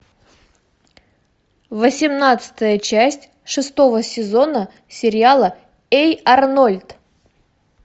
восемнадцатая часть шестого сезона сериала эй арнольд